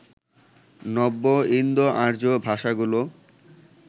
নব্য ইন্দোআর্য্য ভাষাগুলো